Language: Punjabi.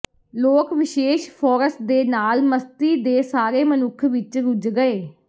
ਲੋਕ ਵਿਸ਼ੇਸ਼ ਫੋਰਸ ਦੇ ਨਾਲ ਮਸਤੀ ਦੇ ਸਾਰੇ ਮਨੁੱਖ ਵਿੱਚ ਰੁੱਝ ਗਏ